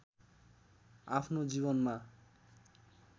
आफ्नो जीवनमा